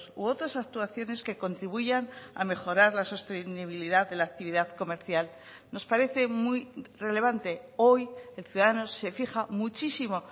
u otras actuaciones que contribuyan a mejorar la sostenibilidad de la actividad comercial nos parece muy relevante hoy el ciudadano se fija muchísimo